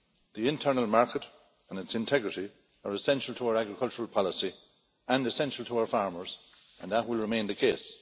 The internal market and its integrity are essential to our agricultural policy and essential to our farmers, and that will remain the case.